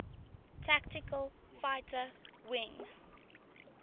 tactical fighter wing